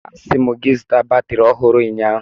Asị m gị zụta batrị ọhụrụ ụnyaahụ!